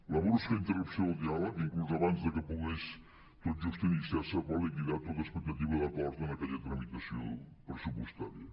la brusca interrupció del diàleg inclús abans de que pogués tot just iniciar se va liquidar tota expectativa d’acord en aquella tramitació pressupostària